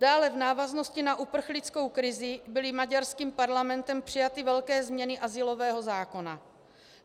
Dále v návaznosti na uprchlickou krizi byly maďarským parlamentem přijaty velké změny azylového zákona.